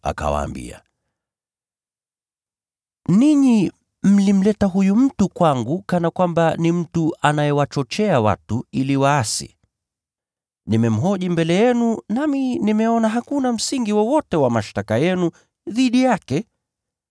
akawaambia, “Ninyi mlimleta huyu mtu kwangu kana kwamba ni mtu anayewachochea watu ili waasi. Nimemhoji mbele yenu nami nimeona hakuna msingi wowote wa mashtaka yenu dhidi yake.